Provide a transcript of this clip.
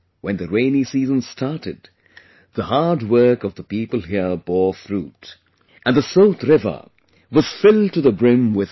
When the rainy season started, the hard work of the people here bore fruit and the Sot river was filled to the brim with water